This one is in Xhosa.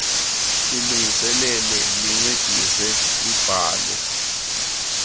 lilungiselele lincedise libhale